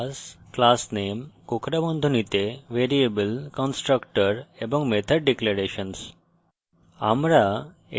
modifierclassclassname কোঁকড়া বন্ধনীতে variable constructor এবং method declarations